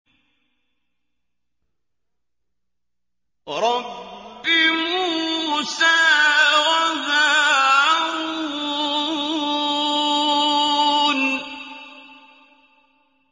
رَبِّ مُوسَىٰ وَهَارُونَ